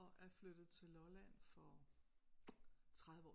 Og er flyttet til Lolland for 30 år